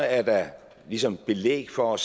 er der ligesom belæg for